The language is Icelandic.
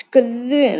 skrum!